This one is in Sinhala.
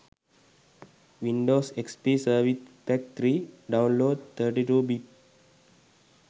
windows xp service pack 3 download 32 bit